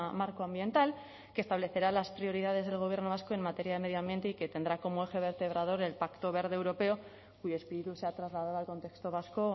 marco ambiental que establecerá las prioridades del gobierno vasco en materia de medio ambiente y que tendrá como eje vertebrador el pacto verde europeo cuyo espíritu se ha trasladado al contexto vasco